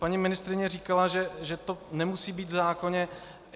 Paní ministryně říkala, že to nemusí být v zákoně.